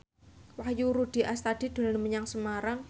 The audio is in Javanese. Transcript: Wahyu Rudi Astadi dolan menyang Semarang